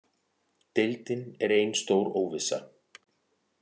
Deildin er ein stór óvissa